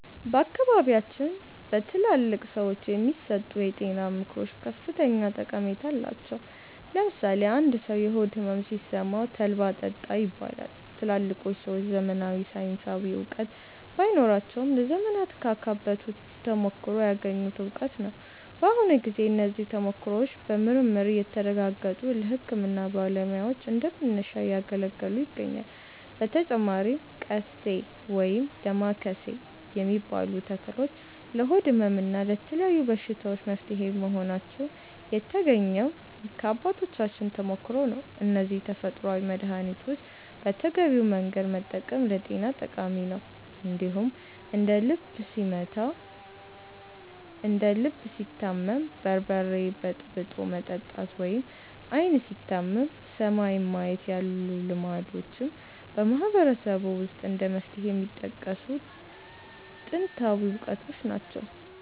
በአካባቢያችን በትላልቅ ሰዎች የሚሰጡ የጤና ምክሮች ከፍተኛ ጠቀሜታ አላቸው። ለምሳሌ አንድ ሰው የሆድ ሕመም ሲሰማው 'ተልባ ጠጣ' ይባላል። ትላልቆቹ ሰዎች ዘመናዊ ሳይንሳዊ እውቀት ባይኖራቸውም፣ ለዘመናት ካካበቱት ተሞክሮ ያገኙት እውቀት ነው። በአሁኑ ጊዜ እነዚህ ተሞክሮዎች በምርምር እየተረጋገጡ ለሕክምና ባለሙያዎች እንደ መነሻ እያገለገሉ ይገኛሉ። በተጨማሪም 'ቀሴ' (ወይም ዳማከሴ) የሚባሉ ተክሎች ለሆድ ሕመም እና ለተለያዩ በሽታዎች መፍትሄ መሆናቸው የተገኘው ከአባቶቻችን ተሞክሮ ነው። እነዚህን ተፈጥሯዊ መድኃኒቶች በተገቢው መንገድ መጠቀም ለጤና ጠቃሚ ነው። እንደዚሁም እንደ 'ልብ ሲታመም በርበሬ በጥብጦ መጠጣት' ወይም 'ዓይን ሲታመም ሰማይን ማየት' ያሉ ልማዶችም በማህበረሰቡ ውስጥ እንደ መፍትሄ የሚጠቀሱ ጥንታዊ እውቀቶች ናቸው።